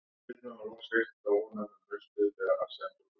Þar var mjöður blandinn og mungát heitt.